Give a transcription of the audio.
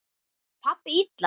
Lét pabbi illa?